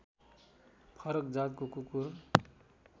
फरक जातको कुकुर